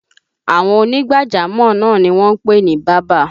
Àwọn ònígbàjámọ̀ náà ni wọ́n ń pè ní bábà